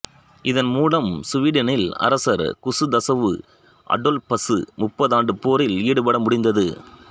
இதன்மூலம் சுவீடனின் அரசர் குசுதவுசு அடோல்பசு முப்பதாண்டுப் போரில் ஈடுபட முடிந்தது